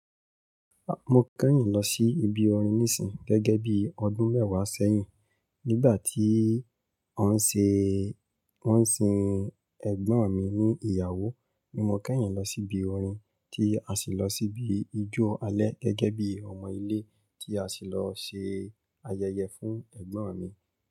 A mo kẹ́yìn lọ sí ibi orin nísìnyí gẹ́gẹ́ bí ọdún mẹ́wàá sẹ́yìn. Nígbà tí wọ́n ń sin ẹ̀gbọ́n mi ní ìyàwó ni mo kẹ́yìn lọ síbi orin tí a sì lọ síbi ijó alẹ́ gẹ́gẹ́ bí ọmọ ilé tí a sì lọ ṣe ayẹyẹ fún ẹ̀gbọ́n mi.